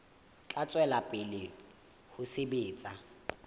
tla tswela pele ho sebetsa